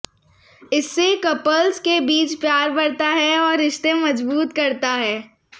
इससे कपल्स के बीच प्यार बढ़ता है और रिश्ते मजबूत करता है